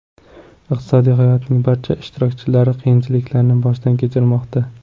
Iqtisodiy hayotning barcha ishtirokchilari qiyinchiliklarni boshdan kechirmoqda.